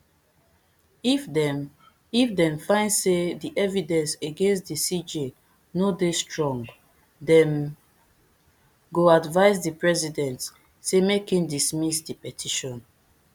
if dem if dem find say di evidence against di cj no dey strong dem go advise di president say make im dismiss di petition